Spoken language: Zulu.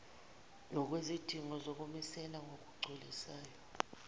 ngokwezidingo zokumisela ngokugculisayo